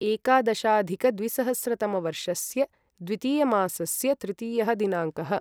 एकादशाधिकद्विसहस्रतमवर्षस्य द्वितीयमासस्य तृतीयः दिनाङ्कः